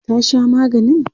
ta Sha maganin?